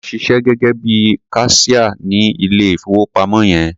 Tọ́lá ń ṣiṣẹ́ gẹ́gẹ́ bí i kaṣíá ní ilé-ìfowópamọ́ yẹn.